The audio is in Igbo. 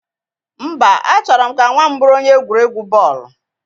Mba, A chọrọ m ka nwa m bụrụ onye egwuregwu bọọlụ